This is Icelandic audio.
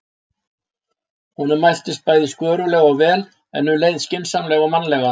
Honum mæltist bæði skörulega og vel, en um leið skynsamlega og mannlega.